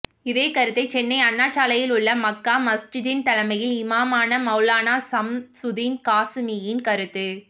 இதே கருத்தை சென்னை அண்ணா சாலையில் உள்ள மக்கா மஸ்ஜிதின் தலைமை இமாமான மௌலானா ஷம்சுதீன் காசிமியின் கருத்து